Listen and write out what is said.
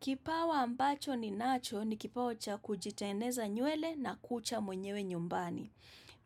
Kipawa ambacho ninacho ni kipawa cha kujitengeneza nywele na kucha mwenyewe nyumbani.